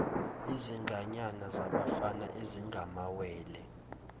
izinganyana zabafana ezingamawele